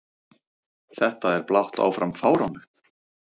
Þetta er blátt áfram fáránlegt!